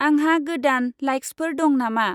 आंहा गोदान लाइक्सफोर दं नामा?